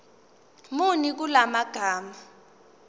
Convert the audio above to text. muni kula magama